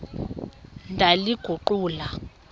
ndaliguqula